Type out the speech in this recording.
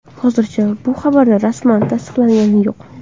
Hozircha bu xabar rasman tasdiqlangani yo‘q.